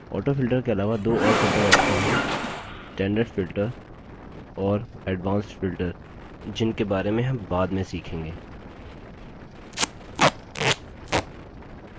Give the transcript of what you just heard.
autofilter के अलावा दो और filter options हैं standard filter और advanced filter जिनके बारे में हम बाद में सीखेंगे